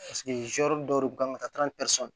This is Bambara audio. dɔw de kun kan ka taa